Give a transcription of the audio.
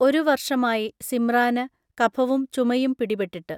ഒരു വർഷമായി സിമ്രാന് കഫവും ചുമയും പിടിപെട്ടിട്ട്.